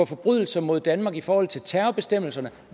forbrydelser mod danmark i forhold til terrorbestemmelserne